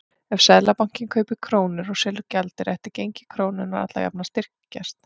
Ef Seðlabankinn kaupir krónur og selur gjaldeyri ætti gengi krónunnar alla jafna að styrkjast.